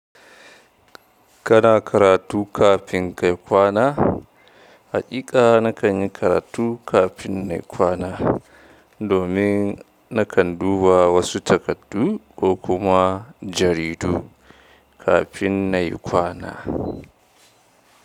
Kana karatu kafin kayi kwana? Haƙiƙa na kan yi karatu kafin nayi kwana domin na kan duba wasu takardu ko kuma jaridu kafin nayi kwana.